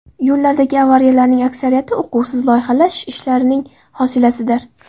Yo‘llardagi avariyalarning aksariyati uquvsiz loyihalash ishlarining hosilasidir.